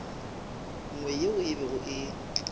nngwe yeo e bego e